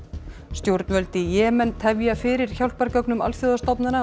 stjórnvöld í Jemen tefja fyrir hjálpargögnum alþjóðastofnana